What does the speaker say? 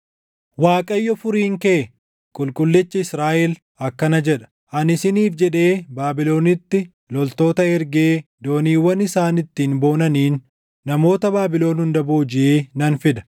Waaqayyo Furiin kee, Qulqullichi Israaʼel akkana jedha: “Ani isiniif jedhee Baabilonitti loltoota ergee dooniiwwan isaan ittiin boonaniin namoota Baabilon hunda boojiʼee nan fida.